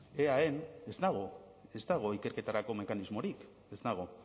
eaen ez dago ez dago ikerketarako mekanismorik ez dago